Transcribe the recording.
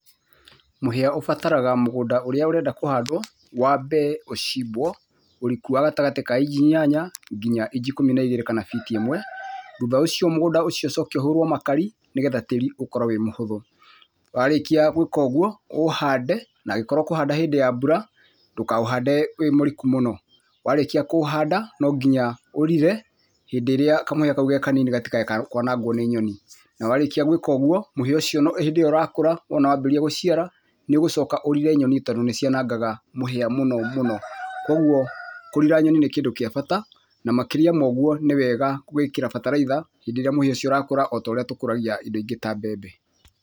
Mũhĩa ũbataraga mũgũnda ũrĩa ũrenda kũhandwo wambe ũcimbwo, ũriku wa gatagatĩ ka inji inyanya nginya inji ikũmi na igĩri kana fiti ĩmwe. Thutha ũcio mũgũnda ũcio ũcoke ũhũrwo makari nĩgetha tĩĩri ũkorwo wĩ mũhũthũ. Wa rĩkia gwĩka ũgũo, ũũhande na angĩkorwo ũkũhanda hĩndĩ ya mbura, ndũkaũhande wĩ mũriku mũno. Warĩkia kũũhanda, no nginya ũrire, hĩndĩ ĩrĩa kamũhĩa kau ge kanini gatiekũanangwo nĩ nyoni. Na warĩkia gwĩka ũguo, mũhĩa ũcio, hĩndĩ ĩyo ũrakũra, o na waambĩrĩria gũciara, nĩũgũcoka ũrĩre nyoni tondũ nĩ cianangaga mũhĩa mũno mũno. Kũoguo kũrira nyoni nĩ kĩndũ kia bata, na makĩria ma ũguo nĩ wega gwĩkira bataraitha hĩndĩ ĩrĩa mũhĩa ũcio ũrakũra o ta ũrĩa tũkũragia indo ingĩ ta mbembe.